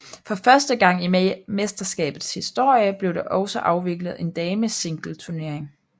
For første gang i mesterskabets historie blev der også afviklet en damesingleturnering